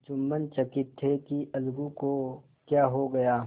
जुम्मन चकित थे कि अलगू को क्या हो गया